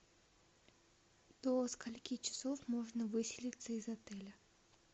до скольки часов можно выселиться из отеля